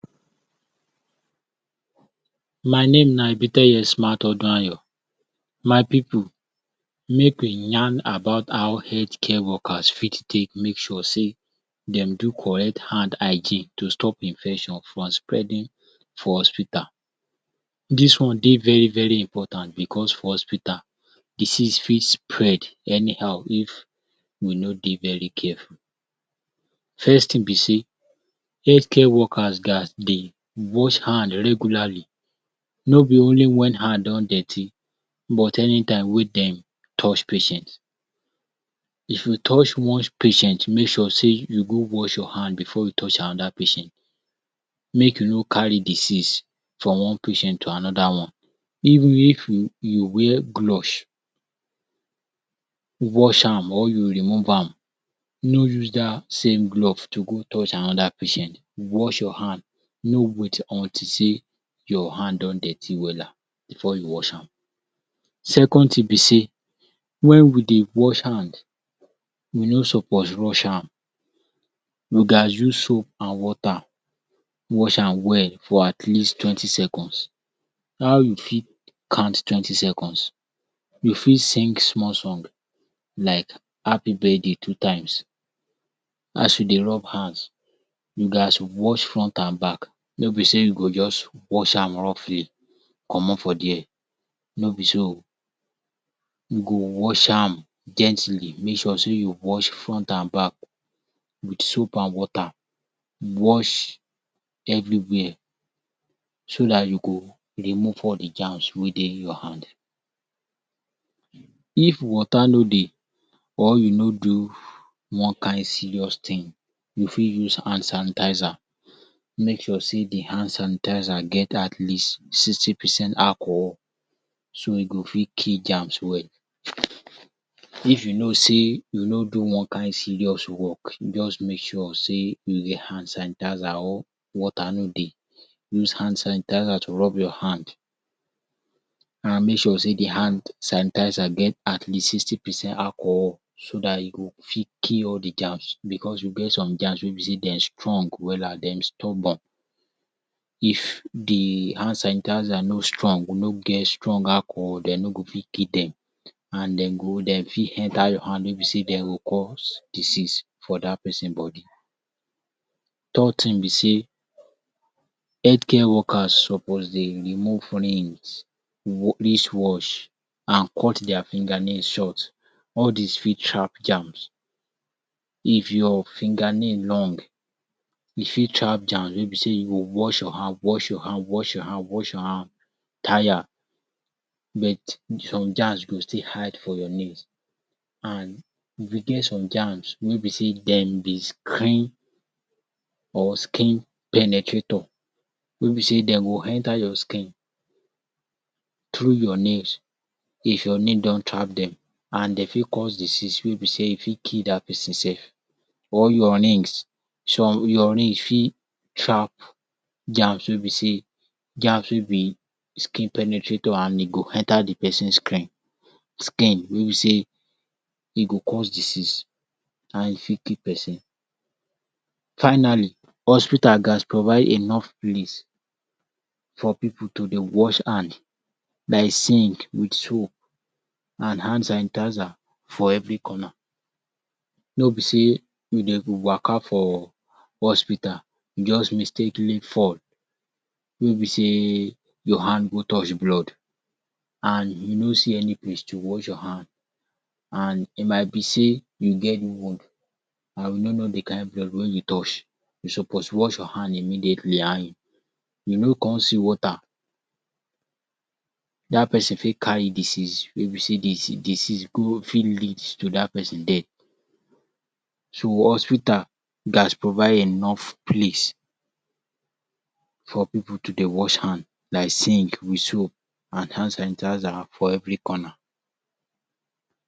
My name na Ebite Osman Oduayo. My pipu make we yan about how health care workers fit take make sure sey dem do correct hand hygiene to stop infection from spreading for hospital. Dis wan dey very very important because for hospital disease fit spread anyhow if you no dey very careful. First thing be sey health care workers gats dey wash hand regularly. No be only when hand don dirty but any time we dem touch patient. If you touch much patient make sure sey you go wash your hand before you touch another patient, make you no carry disease from wan patient to another wan, even if you [um]wear gloves, wash am or you remove am no use dat same glove to go touch another patient. Wash your hand no wait until sey your hand don dirty wella before you wash am. Second thing be sey when we dey wash hand we no suppose rush am you gats use soap and water wash am well for at leasttwentyseconds, how you fit counttwentyseconds, you fit sing small song like happy birthday two times as you dey rub hands, you gats wash front and back no be sey you go just wash am roughly comot for there no be so you go wash am gently make sure sey you wash front and back with soap and water wash everywhere so dat you go remove all de germs wey dey your hand. If water no dey, or you no do wan kind serious thing you fit use hand sanitizer make sure sey de hand sanitizer get at least sixty percent acohol so e go fit kill germs well. If you know sey you no do wan kind serious work just make sure sey you get hand sanitizer or water no dey, use hand sanitizer to rub your hand, make sure sey de hand sanitizer get at least sixty percent acohol, so dat e go fit kill all de germs because you get some germs wey be sey dem strong wella dem stubborn. If de hand sanitizer no strong no get strong acohol dem no go fit kill dem. And dem go dem fit enter your hand wey be sey dem go cause disease for dat person body. third thing be sey health care worker suppose dey remove rings, wrist watch and cut their finger nail short all these fit trap garms. If your finger nail long you fit trap germ wey be sey you go wash your hand wash your hand wash your hand wash your hand tire bet some germs go still hide for your nails. E get some germs wey be sey dem dey screen or skin penetrator, wey be sey dem go enta your skin through your nails, if your nail don trap dem. And de fit cause disease wey be sey e fit kill dat person or your rings some your ring fit trap garms wey be sey garms wey be skin penetrator and e go enter de person screen. Skin wey be sey e go cause disease and e fit kill person. Finally, hospital gats provide enough place for pipu to dey wash hand like sink with soap and hand sanitizer for every corner. No be sey dem go waka for hospital just mistakenly fall wey be sey your hand go touch blood and you no see any place to wash your hand and e might be sey you get wound and we no know de kind blood wey you touch. You suppose wash your hand immediately and you no come see water. Dat person fit carry disease wey be sey de disease go fit lead to dat person death. So hospital gats provide enough place for pipu to dey wash hand like sink with soap and hand sanitizer for every corner.